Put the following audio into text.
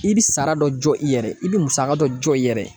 I bɛ sara dɔ jɔ i yɛrɛ ye i bɛ musaka dɔ jɔ i yɛrɛ ye